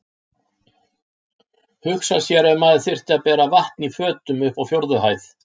Hugsa sér ef maður þyrfti að bera vatn í fötum upp á fjórðu hæð!